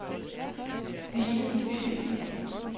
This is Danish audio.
Sine Philipsen